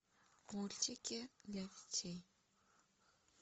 мультики для детей